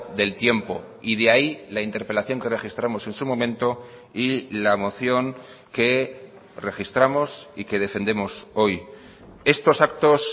del tiempo y de ahí la interpelación que registramos en su momento y la moción que registramos y que defendemos hoy estos actos